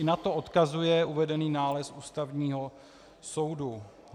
I na to odkazuje uvedený nález Ústavního soudu.